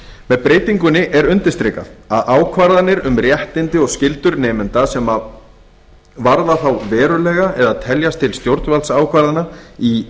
með breytingu er undirstrikað að ákvarðanir um réttindi og skyldur nemenda sem varða þá verulega að teljast til stjórnvaldsákvarðana í